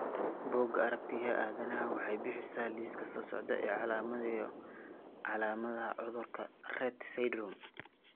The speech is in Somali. Bugga Aragtiyaha Aadanaha waxay bixisaa liiska soo socda ee calaamadaha iyo calaamadaha cudurka Rett syndrome.